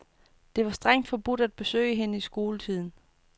Det var strengt forbudt at besøge hende i skoletiden.